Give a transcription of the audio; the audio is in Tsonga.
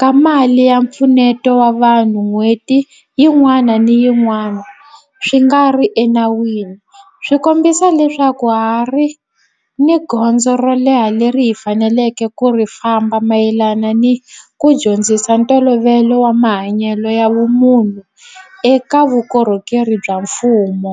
ka mali ya mpfuneto wa vanhu n'hweti yin'wana ni yin'wana swi nga ri enawini swi kombisa leswaku ha ha ri ni gondzo ro leha leri hi faneleke ku ri famba mayelana ni ku dyondzisa ntolovelo wa mahanyelo ya vumunhu eka vukorhokeri bya mfumo.